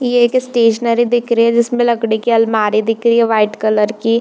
ये एक स्टेशनरी दिख रही है जिसमें लकड़ी की आलमारी दिख रही है वाइट कलर की।